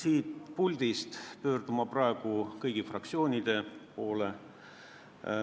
Ma pöördun siit puldist praegu kõigi fraktsioonide poole.